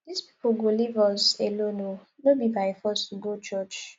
dis people go leave us alone oo no be by force to go church